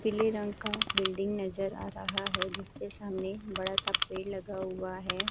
पीले रंग का बिल्डिंग नजर आ रहा है जिसके सामने बड़ा सा पेड़ लगा हुआ है।